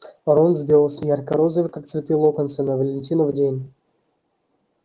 рон сделался ярко-розовый как цветы локонса на валентинов день